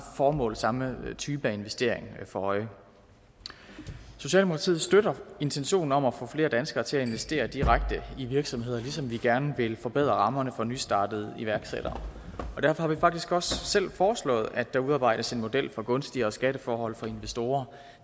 formål og samme type af investering for øje socialdemokratiet støtter intentionen om at få flere danskere til at investere direkte i virksomheder ligesom vi gerne vil forbedre rammerne for nystartede iværksættere derfor har vi faktisk også selv foreslået at der udarbejdes en model for gunstigere skatteforhold for investorer